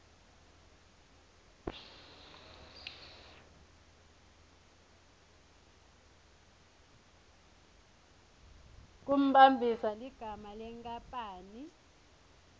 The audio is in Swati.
kumbambisa ligama lenkapani